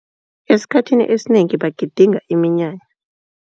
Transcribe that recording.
Esikhathini esinengi bagidinga iminyanya.